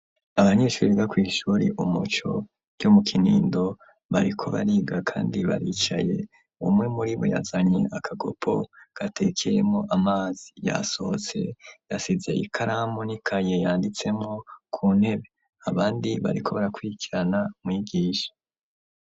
Abanyeshure biga kwishure umuco ryo mu kinindo bariko bariga kandi baricaye umwe muribo yazanye akagopo gatekeyemwo amazi yasohotse yasize ikaramu n'ikaye yanditsemwo ku ntebe abandi bariko barakwikirana umwigisha.